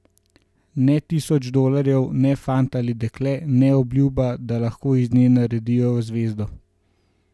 Ne tisoč dolarjev, ne fant ali dekle, ne obljuba, da lahko iz nje naredijo zvezdo ...